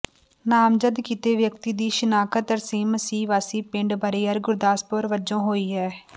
ਨਾਮਜਦ ਕੀਤੇ ਵਿਅਕਤੀ ਦੀ ਸ਼ਨਾਖਤ ਤਰਸੇਮ ਮਸੀਹ ਵਾਸੀ ਪਿੰਡ ਬਰਿਆਰ ਗੁਰਦਾਸਪੁਰ ਵਜੋਂ ਹੋਈ ਹੈ